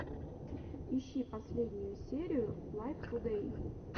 ищи последнюю серию лайв тудэй